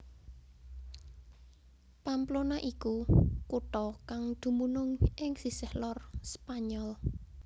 Pamplona iku kutha kang dumunung ing sisih lor Spanyol